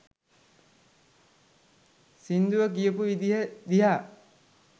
සිංදුව කියපු විදිය දිහා